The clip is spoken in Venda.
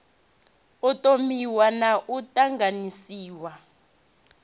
u thomiwa na u ṱanganyiswa